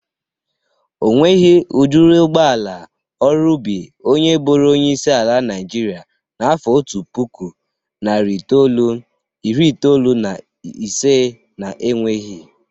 Onweghi udịri ụgbọala ọrụ ubi onye bụrụ onyeisi ala Nịajịrịa n'afọ otu puku, narị itolu, iri itolu na ise na-enweghi.